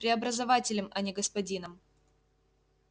преобразователем а не господином